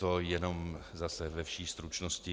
To jenom zase ve vší stručnosti.